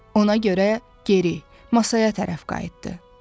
Ona görə geri, masaya tərəf qayıtdı.